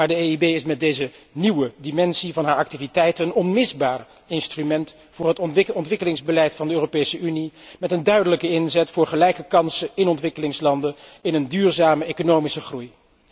Maar de EIB is met deze nieuwe dimensie van haar activiteiten een onmisbaar instrument voor het ontwikkelingsbeleid van de Europese Unie, met een duidelijke inzet voor gelijke kansen in ontwikkelingslanden, in een duurzame economische groei.